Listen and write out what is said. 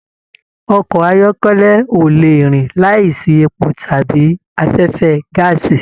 Ọkọ ayọkẹlẹ o lè rìn láì sí èpò tàbí afẹfẹ gàásí.